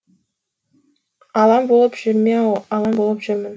алаң болып жүрме ау алаң болып жүрмін